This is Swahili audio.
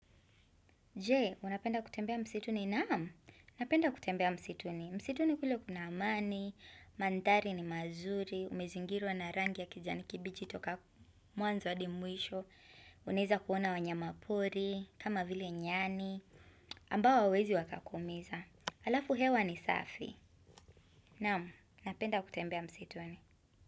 Je, unapenda kutembea msituni? Naam, napenda kutembea msituni. Msituni kule kuna amani, mandhari ni mazuri, umezingiriwa na rangi ya kijani kibichi kutoka mwanzo hadi mwisho, unweza kuona wanyamapori, kama vile nyani, ambao hawawezi wakakumiza. Alafu hewa ni safi. Naamu, unapenda kutembea msituni.